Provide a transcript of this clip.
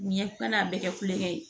Ɲɛ kana a bɛɛ kɛ kulongɛ ye